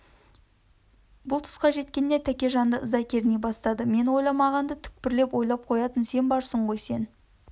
бұл түсқа жеткенде тәкежанды ыза керней бастады мен ойламағанды түкпірлеп ойлап қоятын сен барсың ғой сен